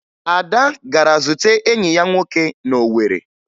Ada gara zute enyi ya nwoke na Owere